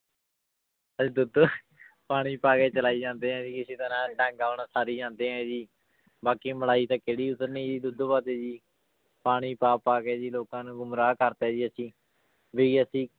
ਦੁੱਧ ਪਾਣੀ ਪਾ ਕੇ ਚਲਾਈ ਜਾਂਦੇ ਹਾਂ ਜੀ ਇਸੇੇ ਤਰ੍ਹਾਂ ਡੰਗ ਆਪਣਾ ਸਾਰੀ ਜਾਂਦੇ ਹਾਂ ਜੀ ਬਾਕੀ ਮਲਾਈ ਤਾਂ ਕਿਹੜੀ ਉਤਰਨੀ ਜੀ ਦੁੱਧ ਵੱਧ ਜੀ ਪਾਣੀ ਪਾ ਕੇ ਪਾ ਕੇ ਜੀ ਲੋਕਾਂ ਨੂੰ ਗੁੰਮਰਾਹ ਕਰਤਾ ਜੀ ਅਸੀਂ ਵੀ ਅਸੀਂ